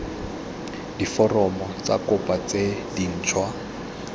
diforomo tsa kopo tse dintšhwa